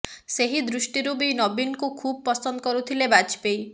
ସେହି ଦୃଷ୍ଟିରୁ ବି ନବୀନଙ୍କୁ ଖୁବ ପସନ୍ଦ କରୁଥିଲେ ବାଜପେୟୀ